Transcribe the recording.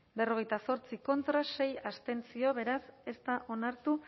berrogeita zortzi contra sei abstentzio beraz ez da onartu